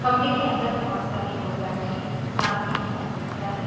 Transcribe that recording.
कमरे के अंदर बहुत सारे लोग बैठे हैं सामने एक आदमी खड़ा है।